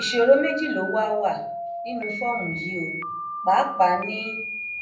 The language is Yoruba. ìṣòro méjì ló wáá wà nínú fọọmù yìí o pàápàá ní